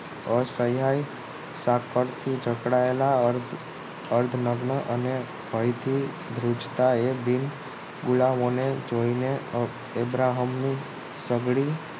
અસહાય સાંકળતી જકડાયેલા અર્ધનગ્ન અને ભય થી ધ્રુજતા એ દી ગુલામો જોઈને અબ્રાહમ ની નબળી